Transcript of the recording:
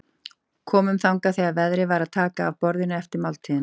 Komum þangað þegar verið var að taka af borðinu eftir máltíðina.